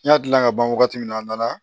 N y'a gilan ka ban wagati min a nana